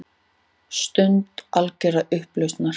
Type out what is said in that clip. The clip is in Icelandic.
Stund algjörrar upplausnar.